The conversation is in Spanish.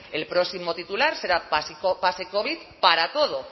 el próximo titular será pase covid para todo